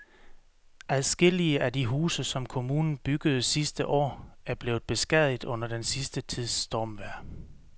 Adskillige af de huse, som kommunen byggede sidste år, er blevet beskadiget under den sidste tids stormvejr.